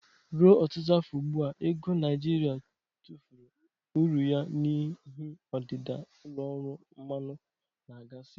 Ruo ọtụtụ afọ ugbu a, ego Naijiria tụfuru uru ya n'ihi ọdịda ụlọ ọrụ mmanụ na gasi.